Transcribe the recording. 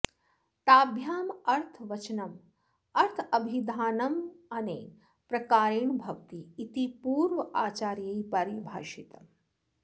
ताभ्याम् अर्थवचनम् अर्थाभिधानम् अनेन प्रकारेण भवति इति पूर्वाऽचार्यैः परिभाषितम्